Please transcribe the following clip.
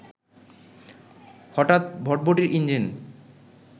হঠাৎ ভটভটির ইঞ্জিন